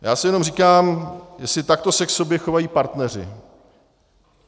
Já si jenom říkám, jestli takto se k sobě chovají partneři.